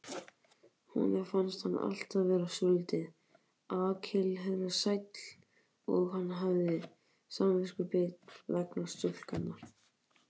Honum fannst hann alltaf vera svolítill Akkilesarhæll og hann hafði samviskubit vegna stúlkunnar.